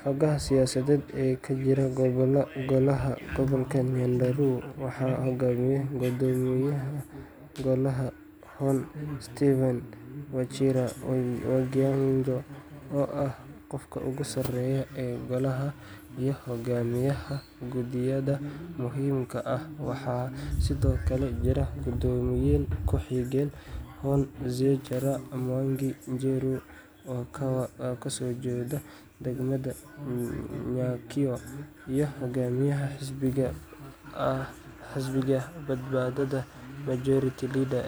Xoogga siyaasadeed ee ka jira Golaha Gobolka Nyandarua waxaa hogaamiya guddoomiyaha Golaha, Hon. Stephen Wachira Waiganjo, oo ah qofka ugu sareeya ee Golaha iyo hogaamiyaha guddiyada muhiimka ah. Waxaa sidoo kale jirta guddoomiye ku-xigeen, Hon. Zachary Mwangi Njeru, oo ka soo jeeda degmada Nyakio, iyo hogaamiyaha xisbiga badbaadada majority leader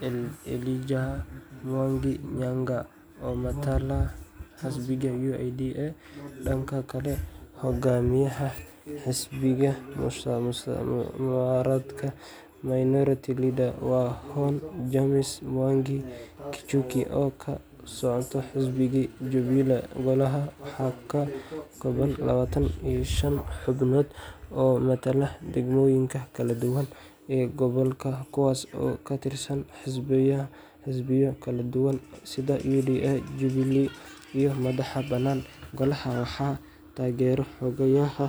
Hon. Elijah Mwangi Nyaga oo matala xisbiga UDA. Dhanka kale, hogaamiyaha xisbiga mucaaradka minority leader waa Hon. James Mwangi Gichuki oo ka socda xisbiga Jubilee. Golaha waxaa ka kooban labatan iyo shan xubnood oo matala degmooyinka kala duwan ee gobolka, kuwaas oo ka tirsan xisbiyo kala duwan sida UDA, Jubilee, iyo madax-bannaan. Golaha waxaa taageera xoghayaha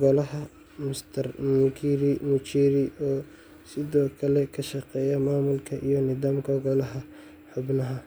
Golaha, Mr. Mukiri Muchiri, oo sidoo kale ka shaqeeya maamulka iyo nidaamka golaha. Xubnahan.